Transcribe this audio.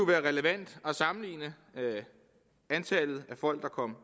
være relevant at sammenligne antallet af folk der kom